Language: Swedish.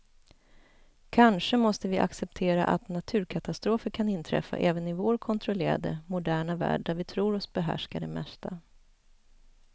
Kanske måste vi acceptera att naturkatastrofer kan inträffa även i vår kontrollerade, moderna värld där vi tror oss behärska det mesta.